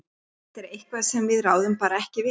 Þetta er eitthvað sem við ráðum bara ekki við.